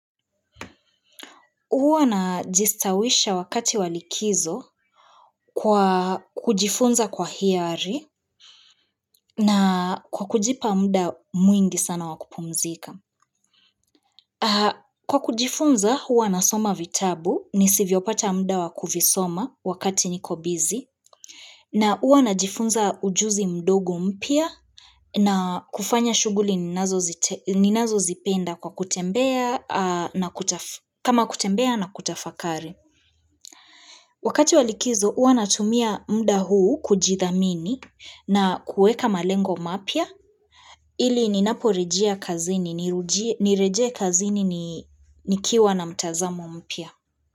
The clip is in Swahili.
Huwa na jistawisha wakati walikizo kwa kujifunza kwa hiari na kwa kujipa muda mwingi sana wakupumzika. Kwa kujifunza, uwa nasoma vitabu ni sivyo pata muda wakuvisoma wakati niko busy. Na huwa na jifunza ujuzi mdogo mpya na kufanya shughuli ninazo zipenda kwa kutembea na kutafakari. Wakati walikizo huanatumia muda huu kujithamini na kuweka malengo mapya ili ninapo rejia kazini nireje kazini nikiwa na mtazamo mpya.